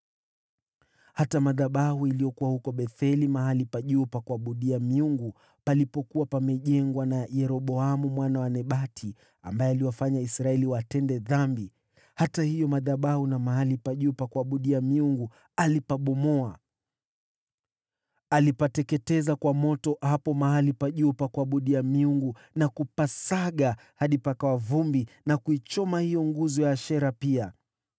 Hata madhabahu yaliyokuwa huko Betheli, mahali pa juu pa kuabudia miungu palipokuwa pamejengwa na Yeroboamu mwana wa Nebati, ambaye aliwafanya Israeli watende dhambi, alibomoa hata hayo madhabahu na mahali pa juu pa kuabudia miungu. Alipateketeza kwa moto hapo mahali pa juu pa kuabudia miungu na kupasaga hadi pakawa vumbi, na kuichoma hiyo nguzo ya Ashera pia.